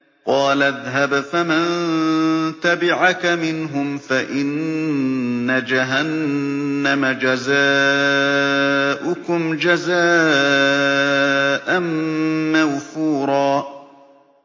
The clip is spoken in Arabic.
قَالَ اذْهَبْ فَمَن تَبِعَكَ مِنْهُمْ فَإِنَّ جَهَنَّمَ جَزَاؤُكُمْ جَزَاءً مَّوْفُورًا